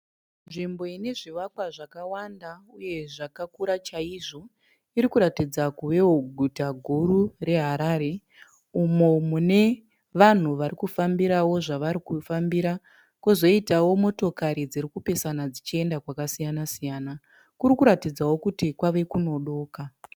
Nzvimbo ine zvivakwa zvakawanda uye zvakakura chaizvo. Irikuratidza kuvewo guta guru raHarare. Umo mune vanhu varikufambirawo. zvavarikufambira. Kozoitawo motokari dzirikupesana dzichienda kwakasiyana siyana. Kurikutadzawo kuti kwave kunodoka.